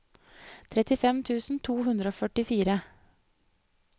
trettifem tusen to hundre og førtifire